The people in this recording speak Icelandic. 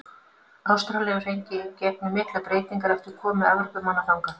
Ástralía hefur gengið í gegnum miklar breytingar eftir komu Evrópumanna þangað.